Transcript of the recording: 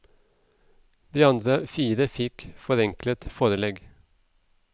De andre fire fikk forenklet forelegg.